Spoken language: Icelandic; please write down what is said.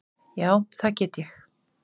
Já, það get ég.